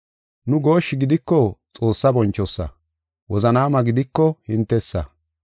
Nu gooshshi gidiko Xoossa bonchosa; wozanaama gidiko hintesa.